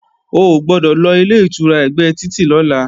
O gbọ́dọ̀ lọ Ilé-ìtura ẹ̀gbẹ́ títì lọ́la!